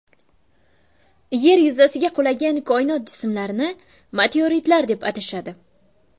Yer yuzasiga qulagan koinot jismlarini meteoritlar deb atashadi.